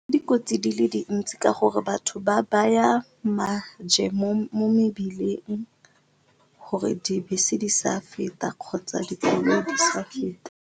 Dikotsi di le dintsi ka gore batho ba baya maje mo mebileng gore dibese di sa feta kgotsa dikoloi di seke di a feta.